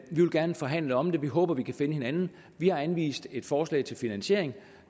gerne forhandle om det vi håber at vi kan finde hinanden vi har anvist et forslag til finansiering